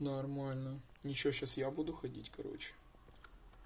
нормально ничего сейчас я буду ходить короче